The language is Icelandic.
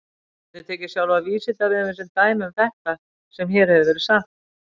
Við getum tekið sjálfan Vísindavefinn sem dæmi um þetta sem hér hefur verið sagt.